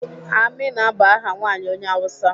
Amina bụ aha nwaanyị onye Awụsa.